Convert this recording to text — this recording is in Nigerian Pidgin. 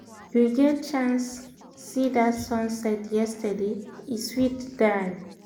you get chance chance see that sunset yesterday? e sweet die!